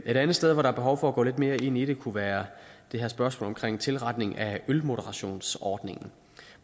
et andet sted hvor der er behov for at gå lidt mere ind i det kunne være det her spørgsmål omkring tilretning af ølmoderationsordningen